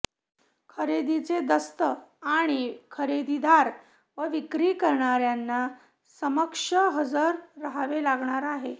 खरेदीचे दस्त आणि खरेदीदार व विक्री करणार्यांना समक्ष हजर रहावे लागणार आहे